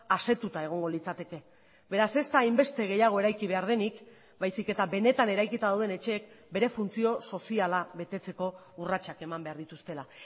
asetuta egongo litzateke beraz ez da hainbeste gehiago eraiki behar denik baizik eta benetan eraikita dauden etxeek bere funtzio soziala betetzeko urratsak eman behar dituztela